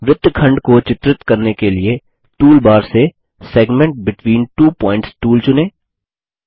वृत्तखंड सिग्मेंट को चित्रित करने के लिए टूलबार से segment between two points tool चुनें